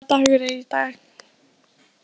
Emelía, hvaða dagur er í dag?